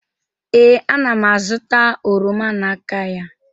ee, ana m azụta oroma n'aka ya